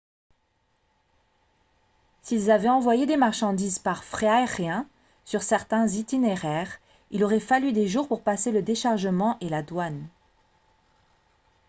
s'ils avaient envoyé des marchandises par fret aérien sur certains itinéraires il aurait fallu des jours pour passer le déchargement et la douane